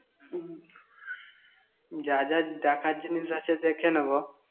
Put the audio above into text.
তাহলে যা যা দেখার জিনিস আছে, দেখে নেব।